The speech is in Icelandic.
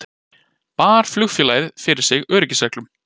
Bar flugfélagið fyrir sig öryggisreglum